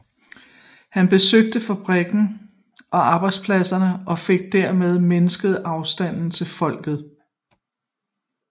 Han besøgte fabrikker og arbejdspladser og fik derved mindsket afstanden til folket